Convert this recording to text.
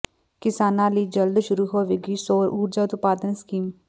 ਕਿਸਾਨਾਂ ਲਈ ਜਲਦ ਸ਼ੁਰੂ ਹੋਵੇਗੀ ਸੌਰ ਊਰਜਾ ਉਤਪਾਦਨ ਸਕੀਮ